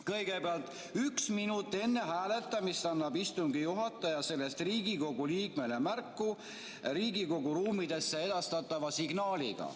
Kõigepealt, et üks minut enne hääletamist annab istungi juhataja sellest Riigikogu liikmele märku Riigikogu ruumidesse edastatava signaaliga.